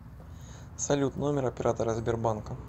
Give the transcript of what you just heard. салют номер оператора сбербанка